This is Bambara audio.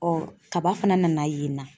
Ɔ kaba fana nana yen n na